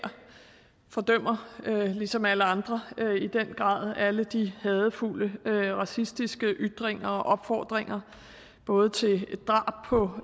fordømmer ligesom alle andre i den grad alle de hadefulde racistiske ytringer og opfordringer både til drab på